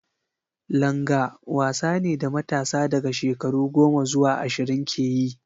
Langa wasa ne da matasa daga shekaru goma zuwa ashirin ke yi.